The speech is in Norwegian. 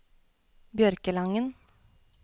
Bjørkelangen